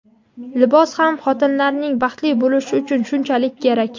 libos ham xotinlarning baxtli bo‘lishi uchun shunchalik kerak.